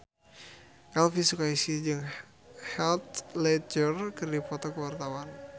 Elvy Sukaesih jeung Heath Ledger keur dipoto ku wartawan